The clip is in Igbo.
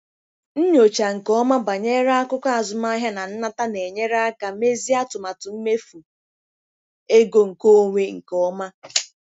Nyochaa nke ọma banyere akụkọ azụmahịa na nnata na-enyere aka mezie atụmatụ mmefu ego nkeonwe nke ọma.